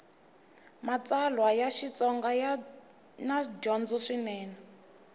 matsalwa ya xitsonga yana dyondzo swinene